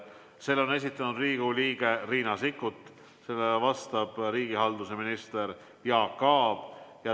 Selle esitab Riigikogu liige Riina Sikkut ja talle vastab riigihalduse minister Jaak Aab.